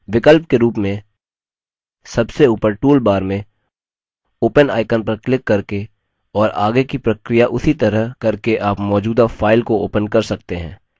विकल्प के रूप में सबसे ऊपर toolbar में open icon पर क्लिक करके और आगे की प्रक्रिया उसी तरह करके आप मौजूदा file को open कर सकते हैं